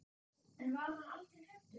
En var hann aldrei hræddur?